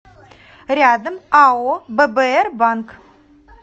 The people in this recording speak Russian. рядом ао ббр банк